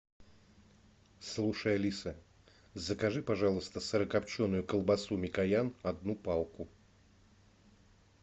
слушай алиса закажи пожалуйста сырокопченую колбасу микоян одну палку